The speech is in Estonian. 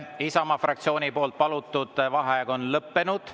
Isamaa fraktsiooni palutud vaheaeg on lõppenud.